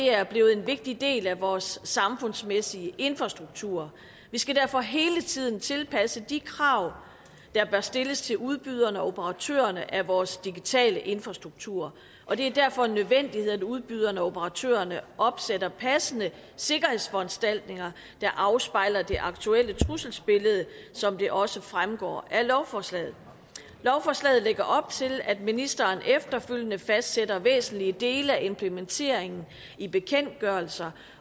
er blevet en vigtig del af vores samfundsmæssige infrastruktur vi skal derfor hele tiden tilpasse de krav der bør stilles til udbyderne og operatørerne af vores digitale infrastrukturer og det er derfor en nødvendighed at udbyderne og operatørerne opsætter passende sikkerhedsforanstaltninger der afspejler det aktuelle trusselsbillede som det også fremgår af lovforslaget lovforslaget lægger op til at ministeren efterfølgende fastsætter væsentlige dele af implementeringen i bekendtgørelser